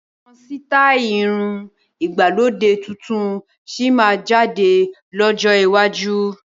Àwọn sítai irun ìgbàlódé tuntun síí máa jáde lọ́jọ́ iwájú